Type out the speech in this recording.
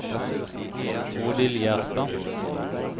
Bodil Gjerstad